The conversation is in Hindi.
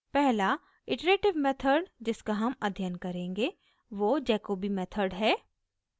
पहला iterative method जिसका हम अध्य्यन करेंगे वो jacobi method है